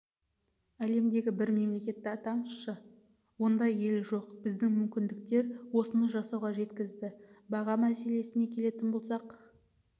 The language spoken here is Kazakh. әлемдегі бір мемлекетті атаңызшы ондай ел жоқ біздің мүмкіндіктер осыны жасауға жеткізді баға мәселесіне келетін болсақ